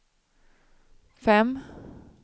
fem